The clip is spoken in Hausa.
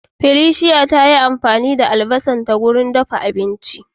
Felicia ta yi amfani da albasanta karce don ɗafa abinchi.